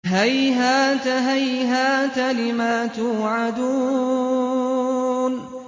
۞ هَيْهَاتَ هَيْهَاتَ لِمَا تُوعَدُونَ